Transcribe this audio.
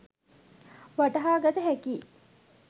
වටහාගත හැකියි.